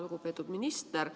Lugupeetud minister!